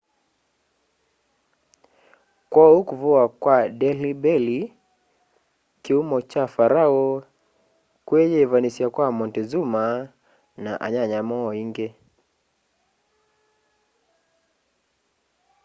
kwoou kuvuwa kwa delhi belly kiumo kya pharaoh kwiyivanisya kwa montezuma na anyanya moo maingi